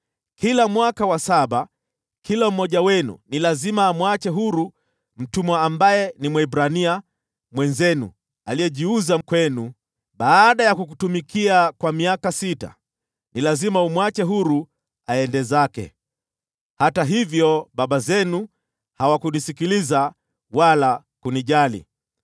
‘Kila mwaka wa saba, kila mmoja wenu ni lazima amwache huru mtumwa ambaye ni Mwebrania mwenzenu aliyejiuza kwenu. Baada ya kukutumikia kwa miaka sita, ni lazima umwache huru aende zake.’ Hata hivyo baba zenu hawakunisikiliza wala kunijali.